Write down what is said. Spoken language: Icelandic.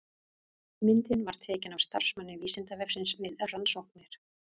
Myndin var tekin af starfsmanni Vísindavefsins við rannsóknir.